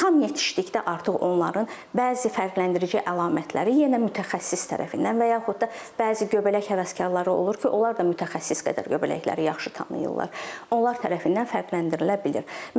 Tam yetişdikdə artıq onların bəzi fərqləndirici əlamətləri yenə mütəxəssis tərəfindən və yaxud da bəzi göbələk həvəskarları olur ki, onlar da mütəxəssis qədər göbələkləri yaxşı tanıyırlar, onlar tərəfindən fərqləndirilə bilər.